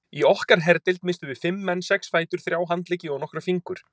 Í okkar herdeild misstum við fimm menn, sex fætur, þrjá handleggi og nokkra fingur.